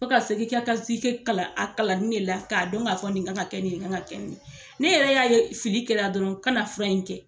Ka segin kɛ ka sike kalan a kalan ni ne la k'a dɔn k'a fɔ nin kan ka kɛ nin kan ka kɛ nin ne yɛrɛ y'a ye fili kɛrɛ dɔrɔn kana fura in kɛ